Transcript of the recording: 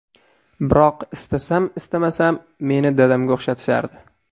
Biroq istasam-istamasam meni dadamga o‘xshatishardi.